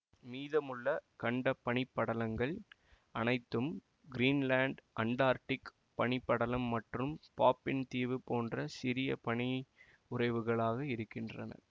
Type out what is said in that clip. மீதமுள்ள கண்ட பனி படலங்கள் அனைத்தும் கிரீன்லாந்து அண்டார்டிக் பனிப் படலம் மற்றும் பாஃபின் தீவு போன்ற சிறிய பனியுறைவுகளாக இருக்கின்றன